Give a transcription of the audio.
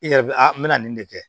I yɛrɛ be a me nin de kɛ